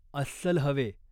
अस्सल हवे.